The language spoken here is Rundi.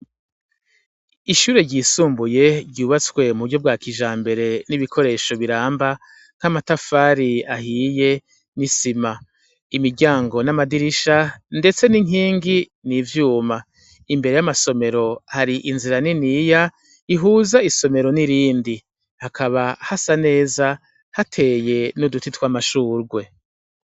Ishuri ryisumbuye ryubatswe m'uburyo bwakijambere n'ibikoresho biramba, nk'amatafari ahiye n'isima, imiryango n'amadirisha ndetse n'inkingi n'ivyuma. Imbere yamasomero har'inzira niniya ihuza isomero n'irindi. Hakaba hasa neza hateye n'uduti tw'amashugwe.